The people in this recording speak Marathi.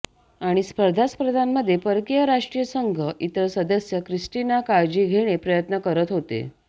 आणि स्पर्धा स्पर्धांमध्ये परकीय राष्ट्रीय संघ इतर सदस्य क्रिस्टिना काळजी घेणे प्रयत्न करत होते